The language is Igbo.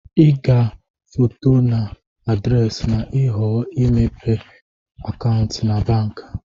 ị ga-foto na adresi ma ịhọọ imepe akantụ na banki